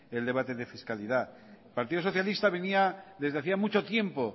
el debate de fiscalidad el partido socialista venía desde hacía mucho tiempo